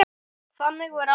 Þannig var amma.